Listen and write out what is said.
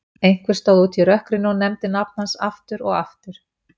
Einhver stóð úti í rökkrinu og nefndi nafn hans aftur og aftur.